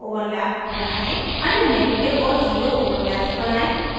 अन्य negative zero overlaps बनायें